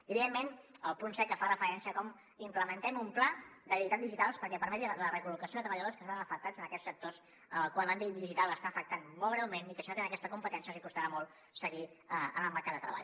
i evidentment el punt set que fa referència a com implementem un pla d’habilitats digitals perquè permeti la recol·locació de treballadors que es veuen afectats en aquests sectors en els quals l’àmbit digital està afectant molt greument i que si no tenen aquesta competència els costarà molt seguir en el mercat de treball